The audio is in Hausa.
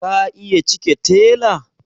Ka iya cike tela?